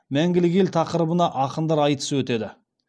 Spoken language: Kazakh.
мәңгілік ел тақырыбына ақындар айтысы өтеді